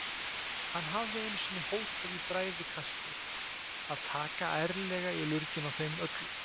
Hann hafði einu sinni hótað í bræðikasti að taka ærlega í lurginn á þeim öllum.